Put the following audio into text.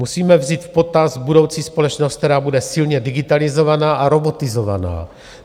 Musíme vzít v potaz budoucí společnost, která bude silně digitalizovaná a robotizovaná.